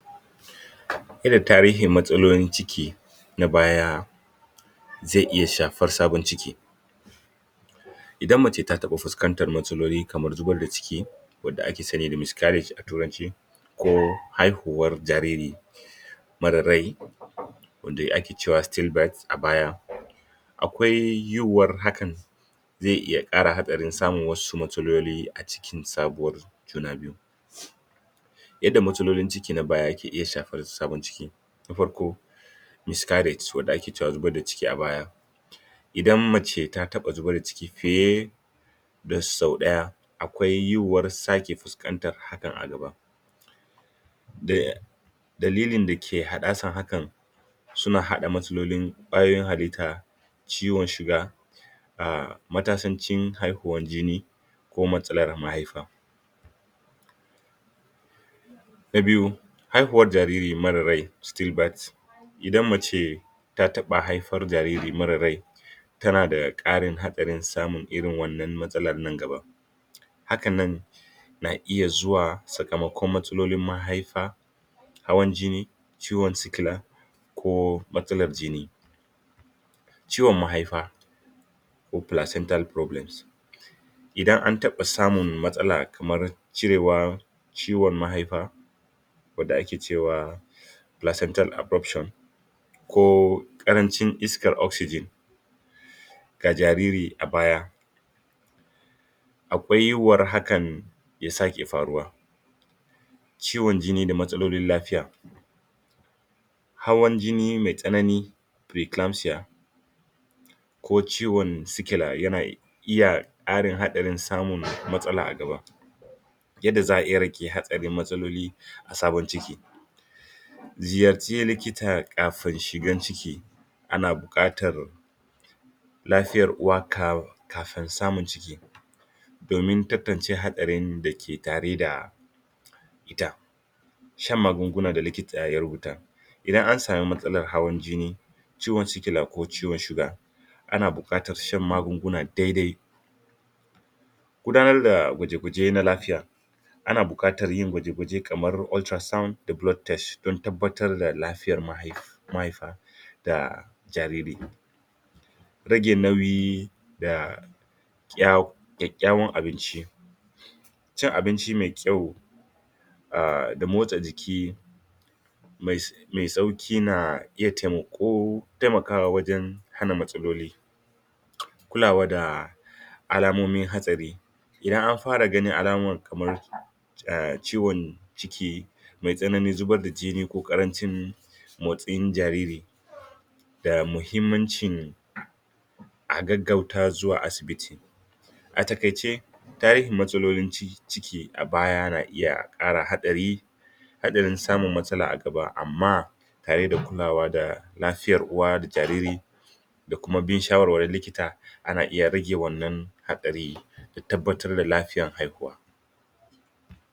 yadda tarihin matsalolin ciki na baya zai iya shafar sabon ciki idan mace ta taba fuskantar matsaloli kamar zubar da ciki wanda aka sani da miscarriage a turanci ko haihuwar jariri marar rai wanda ake cema still birth a baya akwai yiwuwar hakan zai iya kara hatsarin samun wasu matsaloli a cikin sabuwa juna biyu yadda matsalolin ciki na baya ke iya shafar sabon ciki na farko miscarriage wanda ake cema zubar da ciki a baya idan mace ta taba zubar da ciki fiye da sau daya akwai yiwuwar sake fuskantar hakan a gaba da dalilin dake haddasa hakan suna hada matsalolin kwayoyin halitta ciwon shuga ah matasancin haihuwan jini ko matsalar mahaifa na biyu haihuwar jariri marar rai still birth idan mace ta taba haifar jariri marar rai tana da karin hadarin samun irin wannan matsalan nan gaba haka na iya zuwa sakamakon matsalolin mahaifa hawan jini ciwon sikila ko matsalar jini ciwon mahaifa ko placental problems idan an taba samun matsalar kamar cirewar ciwon mahaifa wanda ake cewa placental abruption ko karancin iskar oxygen ga jariri a baya akwai yiwuyar haka ya sake faruwa ciwon jini da matsalolin lafiya hawan jini mai tsanani preeclampsia ko ciwon sikila yana iya karin hadarin samun matsala a nan gaba yadda za'a iya rage hatsarin matsalolia sabon ciki ziyarci liita kafin shigan ciki ana bukatar lafiyar uwa kafin samun ciki domin tantance hatsarin dake tare da ita shan magunguna da likita ya rubuta idan an samu matsalar hawan jini ciwon sikila ko ciwon shuga ana bukatar shan magunguna dai dai gudanar da gwaje gwaje na lafiyab ana bukatar yin kwaje kwaje kamar ultra sound da blood test don tabbatar da lafiya mahaifa da jariri rage nauyi da kyakkyawan abinci cin abinci mai kyau ah da motsa jiki mai sauki na iya taimako taimakawa wajen hana matsaloli kulawa da alamomin hatsari idan an fara ganin alama kamar eh ciwon ciki mai tsanani zubarda jini ko karancin motsin jariri ga mahimmancin a gaggauta asibiti a takaice tarihin matsalolin ciki a baya na iya kara hatsari hadarin samun matsala a gaba amma tare da kulawa da lafiyar uwa da lafiyar jariri da kuma bin shawarwarin likita ana iya rage wannan hadari da tabbatar da lafiyar haihuwa